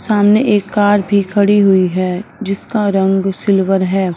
सामने एक कार भी खड़ी हुई है जिसका रंग सिल्वर है।